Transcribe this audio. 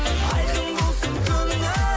айқын болсын көңілің